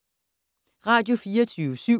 Radio24syv